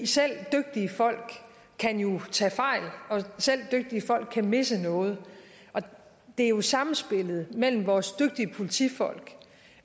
selv dygtige folk kan jo tage fejl og selv dygtige folk kan misse noget det er samspillet mellem vores dygtige politifolk